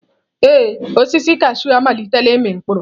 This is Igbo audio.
Ee, osisi kashụụ amalitela ịmị mkpụrụ.